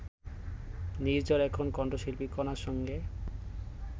নির্ঝর এখন কণ্ঠশিল্পী কণার সঙ্গে